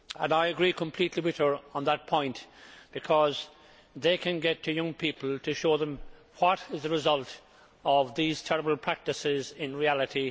I agree completely with her on that point, because they can get to young people and show them what the result is of these terrible practices in reality.